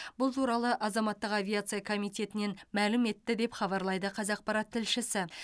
бұл туралы азаматтық авиация комитетінен мәлім етті деп хабарлайды қазақпарат тілшісі